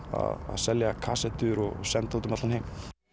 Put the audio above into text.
að selja kasettur og senda út um allan heim